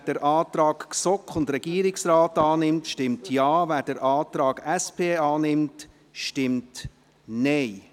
Wer den Antrag GSoK und Regierungsrat annimmt, stimmt Ja, wer den Antrag SP annimmt, stimmt Nein.